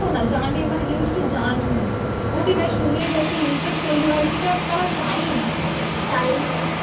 শোনো না, জানে মানে জিনিসটা জান, প্রতিবার শুনে যদি interest তৈরী হয়, সেটা তারা চায়ই না চায়ই না।